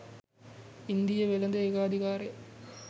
ඉන්දීය වෙළෙඳ ඒකාධිකාරය